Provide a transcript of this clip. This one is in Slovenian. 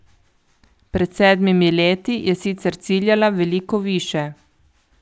Pred sedmimi leti je sicer ciljala veliko više.